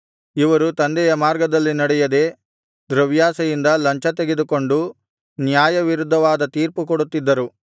ಇವರು ತಂದೆಯ ಮಾರ್ಗದಲ್ಲಿ ನಡೆಯದೆ ದ್ರವ್ಯಾಶೆಯಿಂದ ಲಂಚತೆಗೆದುಕೊಂಡು ನ್ಯಾಯವಿರುದ್ಧವಾದ ತೀರ್ಪು ಕೊಡುತ್ತಿದ್ದರು